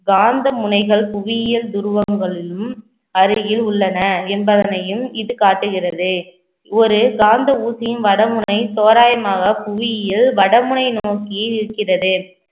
காந்த முனைகள் புவியியல் துருவங்களிலும் அருகில் உள்ளன என்பதனையும் இது காட்டுகிறது ஒரு காந்த ஊசியின் வடமுனை தோராயமாக புவியியல் வடமுனை நோக்கியே இருக்கிறது